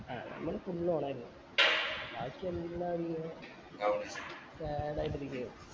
ആഹ് നമ്മൾ full on ആയിരുന്നു ബാക്കി എല്ലാരും sad ആയിട്ട് ഇരിക്ക് ആയിരുന്നു